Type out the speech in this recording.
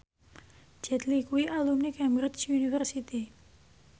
Jet Li kuwi alumni Cambridge University